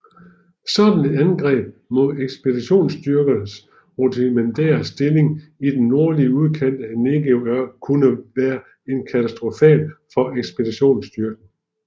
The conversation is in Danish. Sådan et angreb mod ekspeditionsstyrkens rudimentære stillinger i den nordlige udkant af Negev kunne have været katastrofal for ekspeditionsstyrken